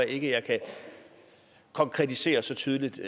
ikke jeg kan konkretisere så tydeligt